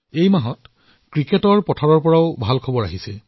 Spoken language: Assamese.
এই মাহটোত ক্ৰিকেটৰ পথাৰৰ পৰাও ভাল খবৰ পোৱা হৈছে